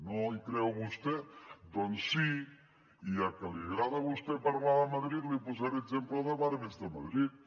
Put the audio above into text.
no hi creu vostè doncs sí i ja que li agrada a vostè parlar de madrid li posaré exemple de barris de madrid